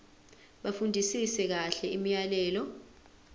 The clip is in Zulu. bafundisise kahle imiyalelo